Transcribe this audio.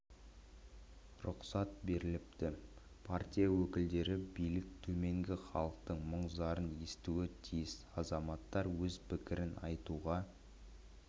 рұқсат беріліпті партия өкілдері билік төменгі халықтың мұң зарын естуі тиіс азаматтар өз пікрін айтуға